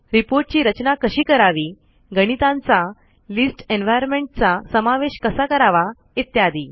report ची रचना कशी करावी गणितांचा लिस्ट एन्व्हायर्नमेंट चा समावेश कसा करावा इत्यादी